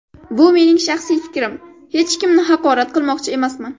Bu mening shaxsiy fikrim, hech kimni haqorat qilmoqchi emasman.